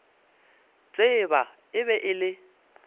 tseba e be e le